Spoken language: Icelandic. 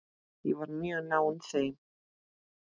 Ég var mjög náinn þeim.